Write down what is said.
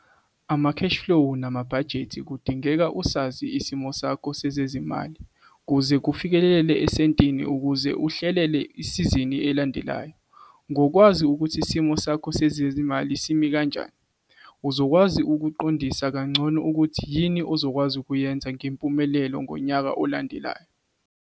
Ama-cash-flow namabhajethi - kudingeka usazi isimo sakho sezezimali kuze kufikelele esentini ukuze uhlelele isizini elandelayo. Ngokwazi ukuthi isimo sakho sezimali simi kanjani, uzokwazi ukuqondisisa kangcono ukuthi yini ozokwazi ukuyenza ngempumelelo ngonyaka olandelayo.